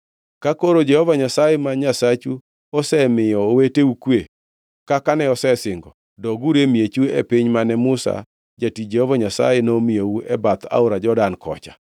Ka koro Jehova Nyasaye ma Nyasachu osemiyo oweteu kwe kaka ne osesingo, doguru e miechu e piny mane Musa jatich Jehova Nyasaye nomiyou e bath aora Jordan kocha.